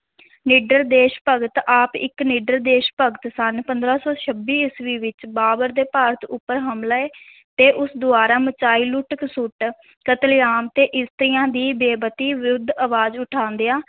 ਨਿੱਡਰ ਦੇਸ਼ ਭਗਤ, ਆਪ ਇੱਕ ਨਿਡਰ ਦੇਸ਼ ਭਗਤ ਸਨ, ਪੰਦਰਾਂ ਸੌ ਛੱਬੀ ਈਸਵੀ ਵਿੱਚ ਬਾਬਰ ਦੇ ਭਾਰਤ ਉੱਪਰ ਹਮਲੇ ਤੇ ਉਸ ਦੁਆਰਾ ਮਚਾਈ ਲੁੱਟ-ਖਸੁੱਟ, ਕਤਲੇਆਮ ਤੇ ਇਸਤਰੀਆਂ ਦੀ ਬੇਪਤੀ ਵਿਰੁੱਧ ਅਵਾਜ਼ ਉਠਾਉਂਦਿਆਂ